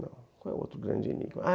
qual é o outro grande enigma?